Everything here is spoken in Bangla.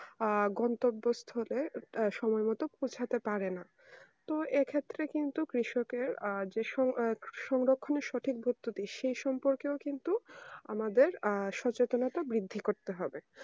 আহ গন্থবস্থরে একটা সময়ের মতন উঠতে পারেনা তো এই ক্ষেত্রে কিন্তু কৃষকের এর যেই সৌ যেই সৌরোক্ষনের সঠিক প্রস্তুতি সেই সম্পর্কেও কিন্তু আমাদের আহ সচেতনের বৃদ্ধি করতে করতে হবে